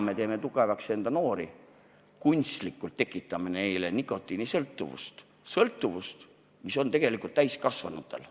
Täna teeme me tugevaks enda noori, tekitame neis kunstlikult nikotiinisõltuvuse, sõltuvuse, mis on tegelikult täiskasvanutel.